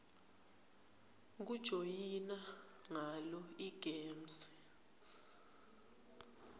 kujoyina ngalo igems